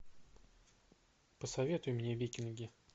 посоветуй мне викинги